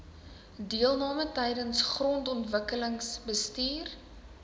deelname tydens grondontwikkelingsbestuur